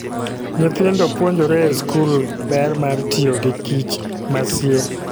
Nyithindo puonjore e skul ber mar tiyo gi kich masie.